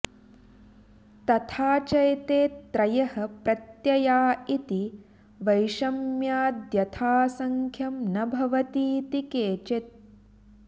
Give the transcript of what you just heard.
तथा चैते त्रयः प्रत्यया इति वैषम्याद्यथासङ्ख्यं न भवतीति केचित्